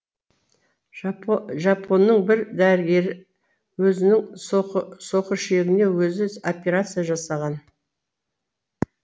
жапонның бір дәрігері өзінің соқыршегіне өзі операция жасаған